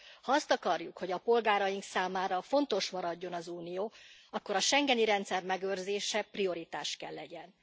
Ha azt akarjuk, hogy a polgáraink számára fontos maradjon az Unió, akkor a schengeni rendszer megőrzése prioritás kell legyen.